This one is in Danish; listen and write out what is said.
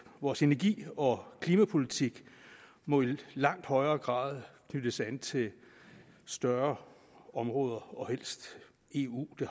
vores energi og klimapolitik må i langt højere grad knyttes an til større områder og helst eu det